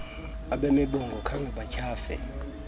abemibongo abakhange batyhafe